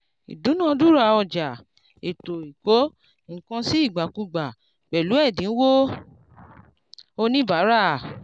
ìdúnadúrà ọjà ètò ìkó-nǹkan-sí-ìgbàkúgbà pẹ̀lú ẹ̀dínwó oníbàárà